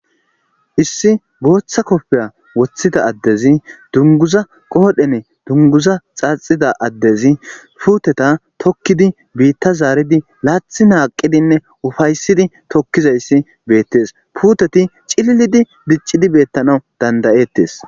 Issi booththa koppiya woththida addezi dungguza qoodhene dungguza xaaxeda addezi puutheyha tokkidi biiththaa zaaridi laaththi naaqqidinne ofaassidi tokkizeyssi beeththees; puuthethi cililidi dicci beeththanawu dandda7eththees.